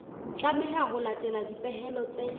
tlameha ho latela dipehelo tse